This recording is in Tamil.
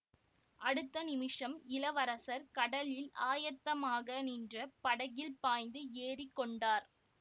அடுத்த நிமிஷம் இளவரசர் கடலில் ஆயத்தமாக நின்ற படகில் பாய்ந்து ஏறி கொண்டார்